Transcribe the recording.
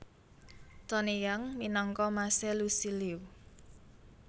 Tony Yang minangka mas e Lusi Liu